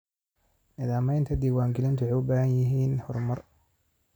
Nidaamyada diiwaangelintu waxay u baahan yihiin horumar.